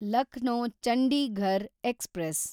Lucknow Chandigarh express